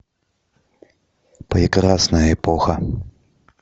прекрасная эпоха